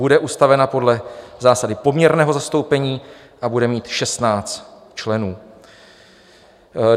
Bude ustavena podle zásady poměrného zastoupení a bude mít 16 členů.